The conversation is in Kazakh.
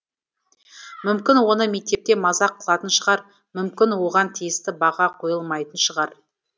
мүмкін оны мектепте мазақ қылатын шығар мүмкін оған тиісті баға қойылмайтын шығар